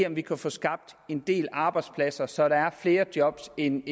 om vi kan få skabt en del arbejdspladser så der er flere job end